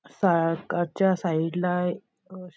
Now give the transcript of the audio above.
साग सागाच्या साइड ला एकक --